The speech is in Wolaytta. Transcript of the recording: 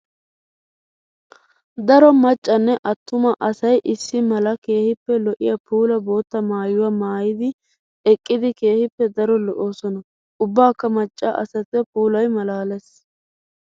Daro macanne atuma asay issi mala keehippe lo'iya puula bootta maayuwa maayiddi eqqiddi keehippe daro lo'osonna. Ubbakka maca asattu puulay malaales.